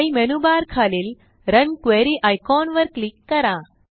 file menu bar खालील run query icon वर click करा